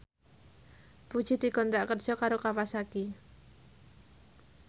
Puji dikontrak kerja karo Kawasaki